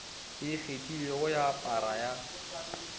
e ikgethilego ya para ya